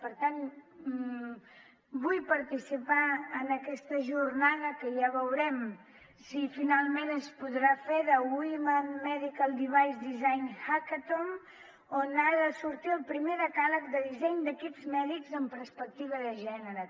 per tant vull participar en aquesta jornada que ja veurem si finalment es podrà fer de women medical device design hackathon d’on ha de sortir el primer decàleg de disseny d’equips mèdics amb perspectiva de gènere